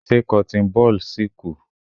Ṣé cotton ball si ku?